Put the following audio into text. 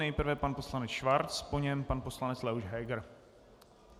Nejprve pan poslanec Schwarz, po něm pan poslanec Leoš Heger.